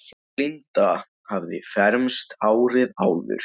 Linda hafði fermst árið áður.